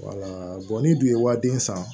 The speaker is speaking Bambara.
ni dun ye waden san